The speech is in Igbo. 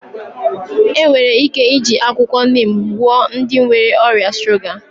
Enwere ike iji akwụkwọ nim gwọọ ndị nwere ọrịa shuga